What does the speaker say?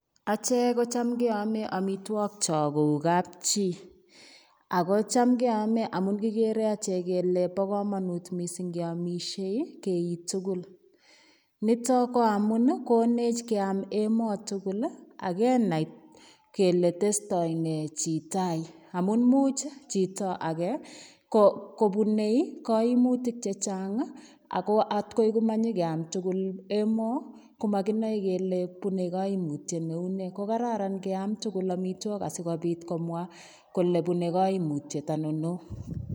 Achek kocham keome amitwogik kyok kou kapchi, ako cham keome amun kikere achek kele bo komonut missing ngeamisie keik tugul. Niton ko amun konech keam emoo tugul ih akenai kele testoi nee chi tai amun muuch chito age kobune koimutik chechang ih ako atkomanyokiam tugul emoo komokinoe kele bune koimutyet neunee. Kokararan keam tugul amitwogik asikobit komwaa kole bune koimutyet ainon neoo